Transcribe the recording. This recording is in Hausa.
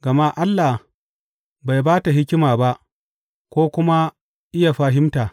Gama Allah bai ba ta hikima ba ko kuma iya fahimta.